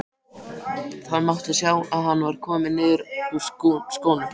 Það mátti sjá að hann var kominn niður úr skónum.